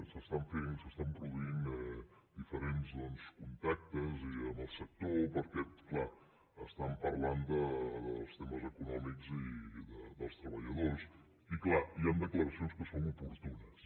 s’estan fent i s’estan produint diferents doncs contactes i amb el sector perquè clar estan parlant dels temes econòmics i dels treballadors i clar hi han declaracions que són oportunes